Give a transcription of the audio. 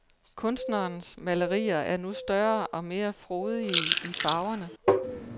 Kunstnerens malerier er nu større og mere frodige i farverne.